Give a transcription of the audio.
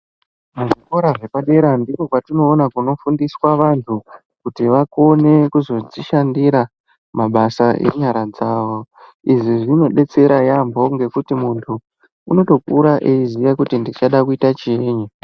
Kuzvikora zvepadera ndipo patinoona kunofundiswa vantu kuti vagone kuzozvishandira mabasa enyara dzavo izvi zvinobetsera yambo ngekuti muntu unotokura achitoziva kuti ndinoda kuita chii.